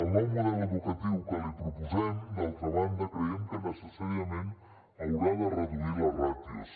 el nou model educatiu que li proposem d’altra banda creiem que necessàriament haurà de reduir les ràtios